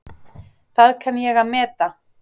Það kann ég að meta.